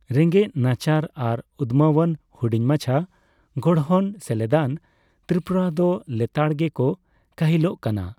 ᱨᱮᱸᱜᱮᱡᱽ ᱱᱟᱪᱟᱨ ᱟᱨ ᱩᱫᱢᱟᱹᱣᱟᱱ ᱦᱩᱰᱤᱧ ᱢᱟᱪᱷᱟ ᱜᱚᱲᱦᱚᱱ ᱥᱮᱞᱮᱫᱟᱱ ᱛᱨᱤᱯᱩᱨᱟ ᱫᱚ ᱞᱮᱛᱟᱲᱜᱮᱠᱚ ᱠᱟᱹᱦᱤᱞᱚᱜ ᱠᱟᱱᱟ ᱾